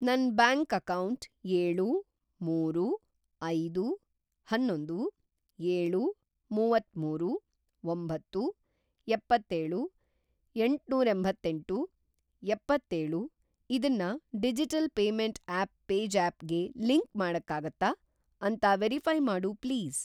ನನ್‌ bank account ಏಳು, ಮೂರು, ಐದು, ಅನ್ನೊಂದು, ಏಳು, ಮುವತ್ತಮೂರು, ಒಂಬತ್ತು, ಎಪ್ಪತ್ತೇಳು, ಎಂಟ್ನೂರೆಂಭತ್ತೆಂಟು, ಎಪ್ಪತ್ತೇಳು ಇದನ್ನ ಡಿಜಿಟಲ್‌ ಪೇಮೆಂಟ್‌ ಆಪ್‌ ಪೇಜ಼್ಯಾಪ್ ಗೆ ಲಿಂಕ್‌ ಮಾಡಕ್ಕಾಗತ್ತಾ ಅಂತ ವೆರಿಫೈ಼ ಮಾಡು ಪ್ಲೀಸ್?